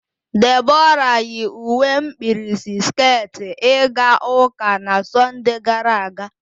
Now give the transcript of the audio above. Debora yi uwe mkpirisi sket ịga ụka na Sọnde gara aga.